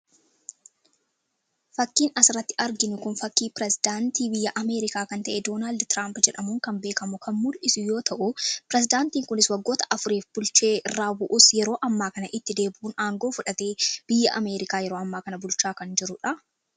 Fakkiin asirratti arginu kun fakkii pirezidaantii biyya Amerikaa kan ta'e Doonaald Tiraamp jedhamuun kan beekamu kan mul'isu yoo ta'u, pirezidaantiin kunis waggoota afuriif bulchee irraa bu'us, yeroo ammaa kana itti deebi'uun aangoo fudhatee biyya Amerikaa yeroo ammaa kana bulchaa kan jiru dha.